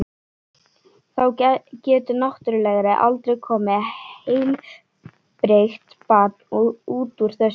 Þá getur náttúrlega aldrei komið heilbrigt barn út úr þessu.